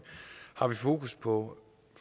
har vi fokus på